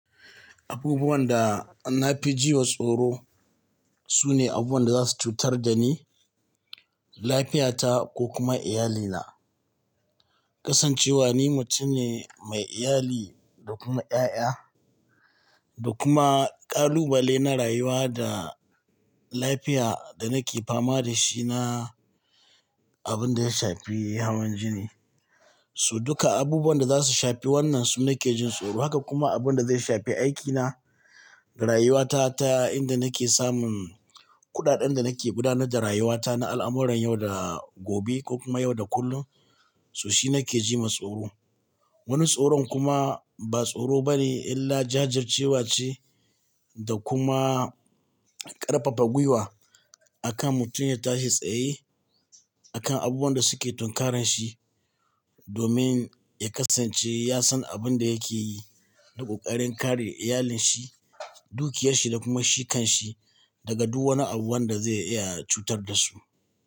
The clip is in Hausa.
Abubuwan da na fi ji wa tsoro sune abubuwan da za su cutar da ni, lafiyata ko kuma iyalina. Kasancewa ni mutum ne mai iyali da kuma ƴaƴa da kuma ƙalubale na rayuwa da lafiya da nake fama da shi na abun da ya shafi hawan jini. So duka abubuwan da za su shafi wannan su nake jin tsoro. Haka kuma abun da zai shafi aikina, rayuwata ta inda nake samun kuɗaɗen da nake gudanar da rayuwata na al'amuran yau da gobe ko kuma yau da kullum, so shi nake ji ma tsoro. Wani tsoron kuma ba tsoro bane illa jajircewa ce da kuma ƙarfafa gwiwa akan mutum ya tashi tsaye akan abubuwan da suke tunkarar shi domin ya kasance ya san abun da yake yi na ƙoƙarin kare iyalinshi, dukiyarshi da kuma shi kan shi daga duk wani abu wanda zai iya cutar da su.